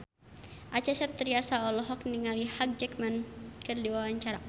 Acha Septriasa olohok ningali Hugh Jackman keur diwawancara